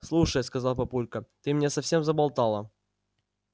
слушай сказал папулька ты меня совсем заболтала